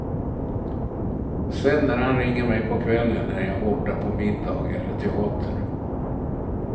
Sen när han ringer mig på kvällen är jag borta på middag eller teater.